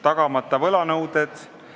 Eelnõuga tehtavad peamised muudatused on järgmised.